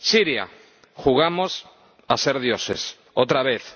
Siria jugamos a ser dioses, otra vez.